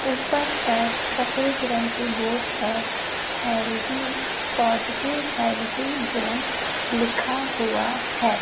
ऊपर पर सफेद रंग के बोर्ड पर हेल्दी पॉजिटिव हेल्दी जोन लिखा हुआ है।